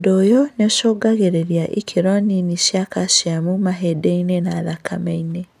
ũndũ ũyũ nĩũcũngagĩrĩria ikĩro nini cia kaciamu mahĩndĩ-inĩ na thakame-inĩ